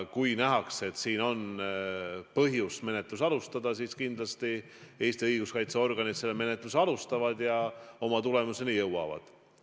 Kui nähakse, et siin on põhjust menetlust alustada, siis kindlasti Eesti õiguskaitseorganid selle alustavad ja oma tulemuseni jõuavad.